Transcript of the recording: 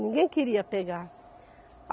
Ninguém queria pegar.